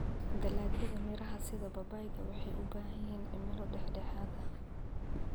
Dalagyada miraha sida babayga waxay u baahan yihiin cimilo dhexdhexaad ah.